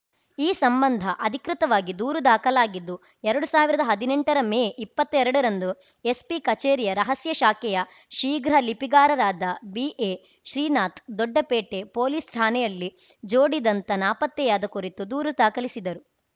ಈ ಸಂಬಂಧ ಅಧಿಕೃತವಾಗಿ ದೂರು ದಾಖಲಾಗಿದ್ದು ಎರಡು ಸಾವಿರದ ಹದಿನೆಂಟರ ಮೇ ಇಪ್ಪತ್ತೆರಡರಂದು ಎಸ್ಪಿ ಕಚೇರಿಯ ರಹಸ್ಯ ಶಾಖೆಯ ಶೀಘ್ರ ಲಿಪಿಗಾರರಾದ ಬಿಎ ಶ್ರೀನಾಥ್‌ ದೊಡ್ಡಪೇಟೆ ಪೊಲೀಸ್‌ ಠಾಣೆಯಲ್ಲಿ ಜೋಡಿ ದಂತ ನಾಪತ್ತೆಯಾದ ಕುರಿತು ದೂರು ದಾಖಲಿಸಿದರು